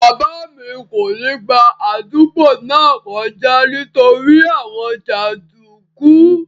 Bàbá mi kò ní gba àdúgbò náà kọjá nítorí àwọn jàndùkú